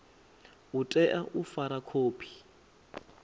u tea u fara khophi